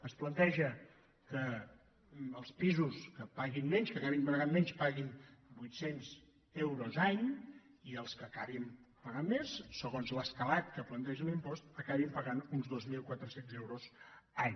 es planteja que els pisos que paguin menys que acabin pagant menys paguin vuitcents euros any i els que acabin pagant més segons l’escalat que planteja l’impost acabin pagant uns dos mil quatre cents euros any